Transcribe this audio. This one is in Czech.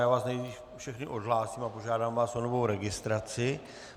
Já vás nejdřív všechny odhlásím a požádám vás o novou registraci.